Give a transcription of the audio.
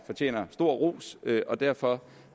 fortjener stor ros og derfor